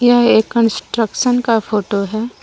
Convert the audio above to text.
यह एक कंस्ट्रक्शन का फोटो है ।